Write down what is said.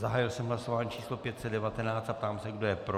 Zahájil jsem hlasování číslo 519 a ptám se, kdo je pro.